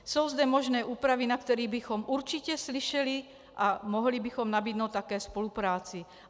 Jsou zde možné úpravy, na které bychom určitě slyšeli a mohli bychom nabídnout také spolupráci.